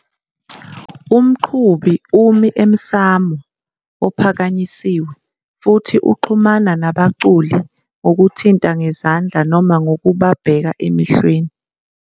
Umqhubi umi emsamo ophakanyisiwe futhi uxhumana nabaculi ngokuthinta ngezandla noma ngokubabheka emehlweni.